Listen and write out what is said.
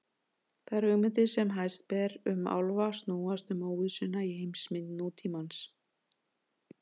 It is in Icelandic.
Þær hugmyndir sem hæst ber um álfa snúast um óvissuna í heimsmynd nútímans.